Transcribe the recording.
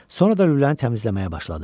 Sonra da lüləni təmizləməyə başladı.